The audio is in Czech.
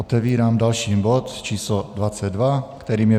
Otevírám další bod číslo 22, kterým je